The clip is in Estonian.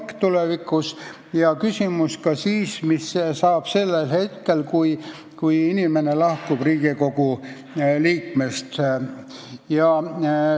Käsitleti ka küsimust, mis saab siis, kui inimene lahkub Riigikogu liikme kohalt.